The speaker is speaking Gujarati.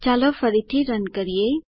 ચાલો ફરીથી રન કરીએ